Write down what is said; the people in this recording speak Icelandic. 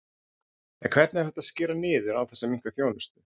En hvernig er hægt að skera niður án þess að minnka þjónustu?